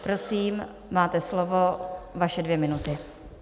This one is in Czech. Prosím, máte slovo, vaše dvě minuty.